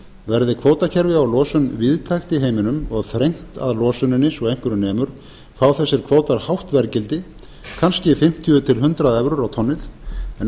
verði kvótakerfið á losun víðtækt í heiminum og þrengt að losuninni svo einhverju nemur fá þessir kvótar hátt verðgildi kannski fimmtíu til hundrað evrur á tonnið en